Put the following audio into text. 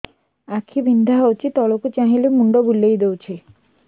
ଆଖି ବିନ୍ଧା ହଉଚି ତଳକୁ ଚାହିଁଲେ ମୁଣ୍ଡ ବୁଲେଇ ଦଉଛି